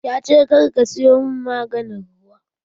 Yace "Kar ka sayo mun maganin ruwa"!